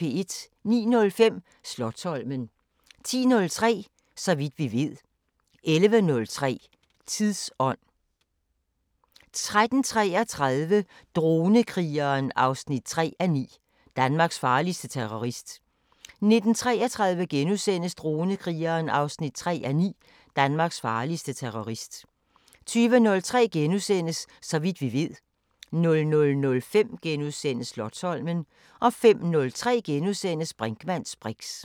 09:05: Slotsholmen 10:03: Så vidt vi ved 11:03: Tidsånd 13:33: Dronekrigeren 3:9 – Danmarks farligste terrorist 19:33: Dronekrigeren 3:9 – Danmarks farligste terrorist * 20:03: Så vidt vi ved * 00:05: Slotsholmen * 05:03: Brinkmanns briks *